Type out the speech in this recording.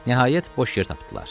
Nəhayət, boş yer tapdılar.